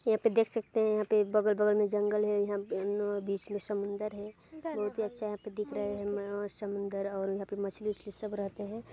यहाँ पे देख सकते है यहाँ पे एक बगल बगल में जंगल है यहाँ पे बीच मे समुन्द्र है बहुत ही अच्छा यहाँ पे दिख रहा है मममम और समुंदर और यहाँ पे मछली वछली सब रहते है।